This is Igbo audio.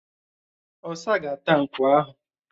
Ọ̀sa ga-áta nkwú ahụ